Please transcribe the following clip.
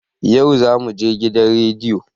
Yau zamuje gidan radiyo